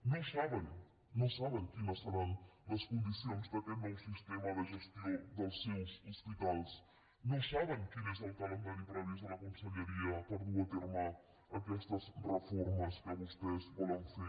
no saben quines seran les condicions d’aquest nou sistema de gestió dels seus hospitals no saben quin és el calendari previst de la conselleria per dur a terme aquestes reformes que vostès volen fer